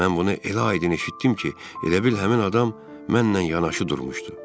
Mən bunu elə aydın eşitdim ki, elə bil həmin adam mənlə yanaşı durmuşdu.